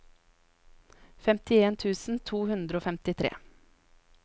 femtien tusen to hundre og femtifire